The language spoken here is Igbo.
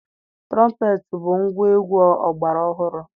Tụrọmpeetị bụ ngwaegwu ọgbara ọhụrụ.